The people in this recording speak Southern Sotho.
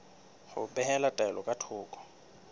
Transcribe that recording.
ho behela taelo ka thoko